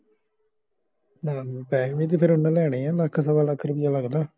ਹਮ ਪੈਹੇ ਤੇ ਫੇਰ ਉਹਨਾਂ ਲੈਣੇ ਆ ਲੱਖ ਸਵਾ ਲੱਖ ਰੁਪਿਆ ਲੱਗਦਾ